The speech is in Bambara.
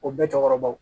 O bɛɛ cɛkɔrɔbaw